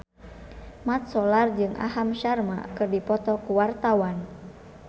Mat Solar jeung Aham Sharma keur dipoto ku wartawan